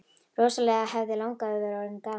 Rosalega hefði langafi verið orðinn gamall!